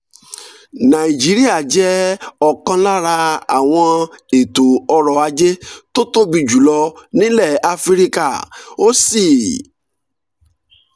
nàìjíríà jẹ́ ọ̀kan lára àwọn ètò ọrọ̀ ajé tó tóbi jù lọ nílẹ̀ áfíríkà ó sì